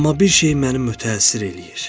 Amma bir şey məni mötəsir eləyir.